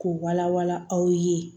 K'u wala wala aw ye